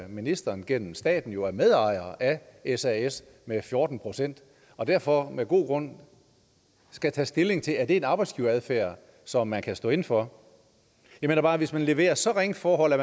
ministeren gennem staten er medejer af sas med fjorten procent og derfor med god grund skal tage stilling til er en arbejdsgiveradfærd som man kan stå inde for jeg mener bare at hvis man leverer så ringe forhold at